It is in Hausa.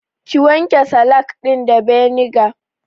Ki wanke salak ɗin da beniga